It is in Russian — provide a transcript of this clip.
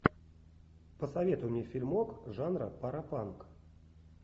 посоветуй мне фильмок жанра паропанк